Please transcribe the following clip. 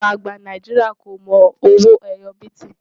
àwọn àgbà Nàìjíríà kò mọ owó ẹyọ biti